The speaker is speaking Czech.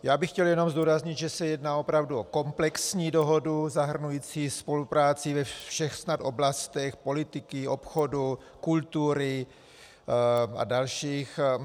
Já bych chtěl jenom zdůraznit, že se jedná opravdu o komplexní dohodu zahrnující spolupráci ve všech snad oblastech politiky, obchodu, kultury a dalších.